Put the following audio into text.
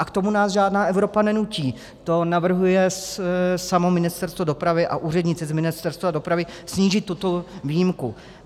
A k tomu nás žádná Evropa nenutí, to navrhuje samotné Ministerstvo dopravy a úředníci z Ministerstva dopravy, snížit tuto výjimku.